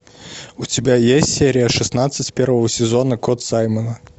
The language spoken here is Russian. у тебя есть серия шестнадцать первого сезона кот саймона